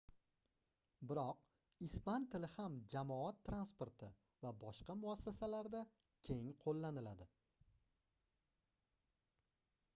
biroq ispan tili ham jamoat transporti va boshqa muassasalarda keng qoʻllaniladi